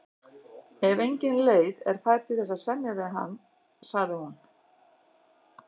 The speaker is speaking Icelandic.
Ef engin leið er fær til þess að semja við hann, sagði hún.